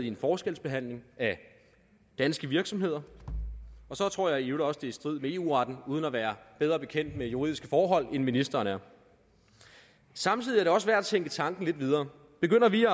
en forskelsbehandling af danske virksomheder og så tror jeg i øvrigt også i strid med eu retten uden at være bedre bekendt med juridiske forhold end ministeren er samtidig er det også værd at tænke tanken lidt videre begynder vi